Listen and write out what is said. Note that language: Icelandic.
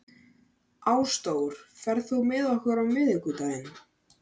Ásdór, ferð þú með okkur á miðvikudaginn?